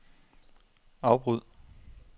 afbryd